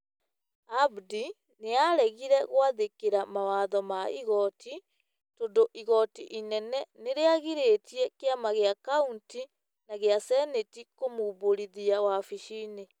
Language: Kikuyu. Abdi nĩ aaregire gwathĩkĩra mawatho ma igooti, tondũ igooti inene nĩ rĩagirĩtie kĩama kĩa kauntĩ na gĩa Seneti kũmũmbũrithia wabici-inĩ